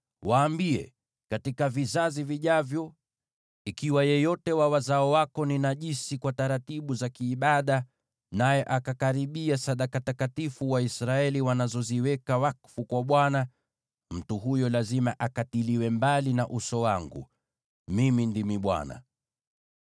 “Waambie: ‘Katika vizazi vijavyo, ikiwa yeyote wa wazao wako ni najisi kwa taratibu za kiibada, naye akakaribia sadaka takatifu zile Waisraeli wanazoweka wakfu kwa Bwana , mtu huyo lazima akatiliwe mbali na uso wangu. Mimi ndimi Bwana .